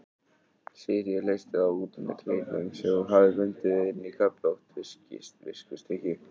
Sigríður leysti þá út með kleinum sem hún hafði bundið inn í köflótt viskustykki.